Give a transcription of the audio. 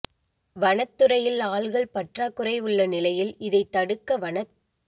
வனத் துறையில் ஆள்கள் பற்றாக்குறை உள்ள நிலையில் இதைத் தடுக்க வனத்